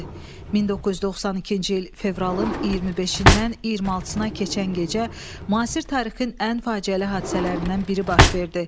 1992-ci il fevralın 25-dən 26-sına keçən gecə müasir tarixin ən faciəli hadisələrindən biri baş verdi.